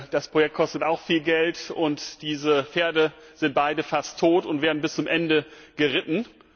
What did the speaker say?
Das Projekt kostet auch viel Geld, und diese Pferde sind beide fast tot und werden bis zum Ende geritten.